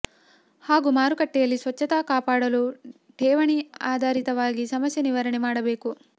ಹಾಗೂ ಮಾರುಕಟ್ಟೆಯಲ್ಲಿ ಸ್ವಚ್ಛತೆ ಕಾಪಾಡಲು ಠೇವಣಿ ಅಧಾರಿತವಾಗಿ ಸಮಸ್ಯೆ ನಿವಾರಣೆ ಮಾಡಬೇಕು